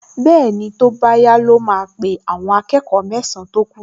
Bẹ́ẹ̀ni, tó bá yá ló máa pe àwọn akẹ́kọ̀ọ mẹ́san-án tó kù